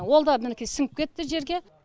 ол да мінекей сіңіп кетті жерге